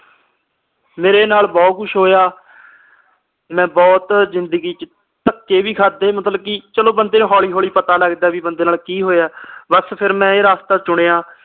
ਮੇਰੇ ਨਾਲ ਬਹੁਤ ਕੁਝ ਹੋਇਆ ਮੈਂ ਬਹੁਤ ਜ਼ਿੰਦਗੀ ਚ ਧੱਕੇ ਵੀ ਖਾਦੇ ਮਤਲਬ ਕਿ ਚਲੋ ਬੰਦੇ ਨੂੰ ਹੌਲੀ ਹੌਲੀ ਪਤਾ ਲੱਗਦਾ ਵੀ ਬੰਦੇ ਨਾਲ ਕੀ ਹੋਇਆ ਬਸ ਫਿਰ ਮੈਂ ਇਹ ਰਾਸਤਾ ਚੁਣਿਆ